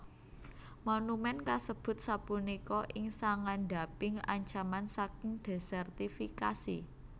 Monumen kasebut sapunika ing sangandhaping ancaman saking desertifikasi